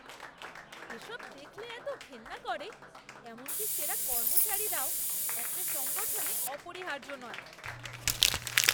এসব দেখলে এতো ঘেন্না করে এমনকি সেরা কর্মচারীরাও একটা সংগঠনে অপরিহার্য নয়।